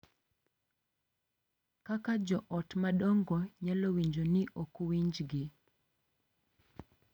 Kaka jo ot madongo nyalo winjo ni ok winjgi